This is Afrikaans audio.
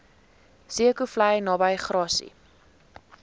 zeekoevlei naby grassy